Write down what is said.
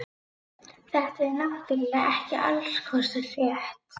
Þetta er náttúrlega ekki allskostar rétt.